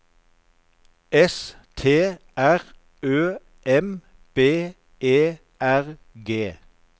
S T R Ø M B E R G